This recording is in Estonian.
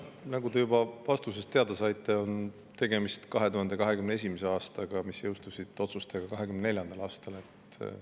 Nagu te juba vastusest teada saite, on tegemist 2021. aasta otsusega, mis jõustus 2024. aastal.